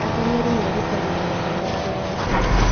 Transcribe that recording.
Ateng'eri merutagĩra gũteng'era irĩma-inĩ